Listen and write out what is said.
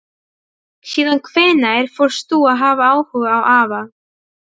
Síðan hvenær fórst þú að hafa áhuga á afa?